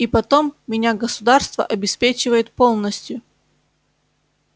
и потом меня государство обеспечивает полностью